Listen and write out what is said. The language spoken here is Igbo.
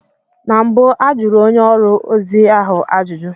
Na mbụ a jụrụ onye ọrụ ozi ahụ ajụjụ.